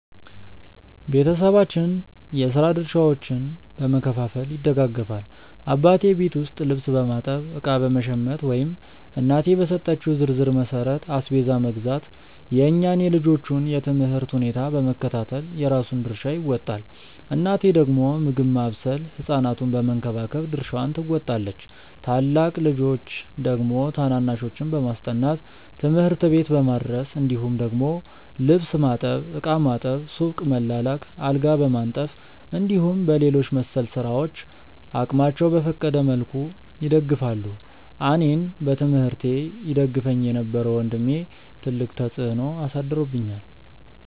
ቤተሰባችን የስራ ድርሻዎችን በመከፋፈል ይደጋገፋል። አባቴ ቤት ውስጥ ልብስ በማጠብ፣ እቃ በመሸመት ወይም እናቴ በሰጠችው ዝርዝር መሠረት አስቤዛ መግዛት፣ የእኛን የልጆቹን የ ትምህርት ሁኔታ በመከታተል የራሱን ድርሻ ይወጣል። እናቴ ደግሞ ምግብ ማብሰል ህ ሕፃናቱን በመንከባከብ ድርሻዋን ትወጣለች። ታላቅ ልጆች ደግሞ ታናናሾችን በማስጠናት፣ ትምህርት ቤት በማድረስ እንዲሁም ደግሞ ልብስ ማጠብ፣ ዕቃ ማጠብ፣ ሱቅ መላላክ፣ አልጋ በማንጠፍ እንዲሁም በሌሎች መሰል ስራዎች አቅማቸው በፈቀደ መልኩ ይደግፋሉ። አኔን በትምህርቴ ይደግፈኝ የነበረው ወንድሜ ትልቅ ተፅዕኖ አሳድሮብኛል።